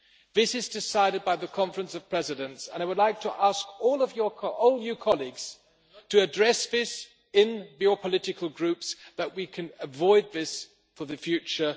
This is decided by the Conference of Presidents, and I would like to ask all colleagues to address this in their political groups so that we can avoid this in the future.